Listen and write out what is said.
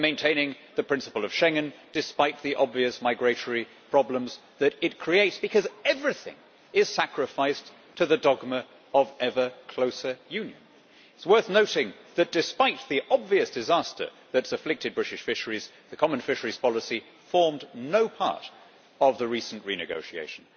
We are maintaining the principle of Schengen despite the obvious migratory problems that it creates, because everything is sacrificed to the dogma of ever closer union. It is worth noting that despite the obvious disaster that has afflicted British fisheries, the common fisheries policy formed no part of the recent renegotiation.